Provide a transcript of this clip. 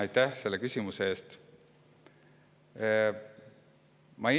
Aitäh selle küsimuse eest!